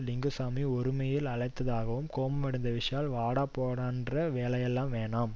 லிங்குசாமி ஒருமையில் அழைத்ததாகவும் கோபமடைந்த விஷால் வாடா போடாங்கிற வேலையெல்லாம் வேணாம்